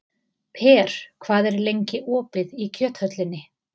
Per, hvað er lengi opið í Kjöthöllinni?